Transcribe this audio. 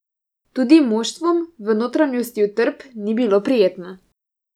Tudi moštvom v notranjosti utrdb ni bilo prijetno.